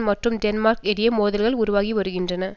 மற்றும் டென்மார்க் இடையே மோதல்கள் உருவாகி வருகின்றன